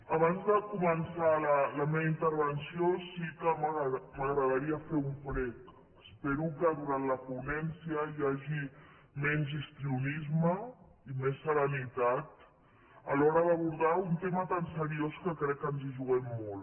abans de començar la meva intervenció sí que m’agradaria fer un prec espero que durant la ponència hi hagi menys histrionisme i més serenitat a l’hora d’abordar un tema tan seriós que crec que ens hi juguem molt